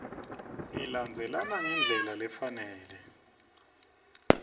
ilandzelana ngendlela lefanele